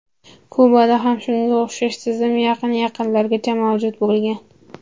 Kubada ham shunga o‘xshash tizim yaqin-yaqinlargacha mavjud bo‘lgan.